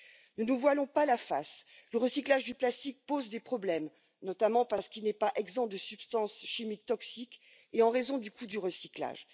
Ne nous voilons pas la face le recyclage du plastique pose des problèmes, notamment parce qu'il n'est pas exempt de substances chimiques toxiques et en raison du coût du recyclage.